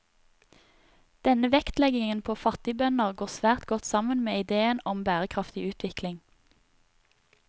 Denne vektleggingen på fattigbønder går svært godt sammen med ideen om bærekraftig utvikling.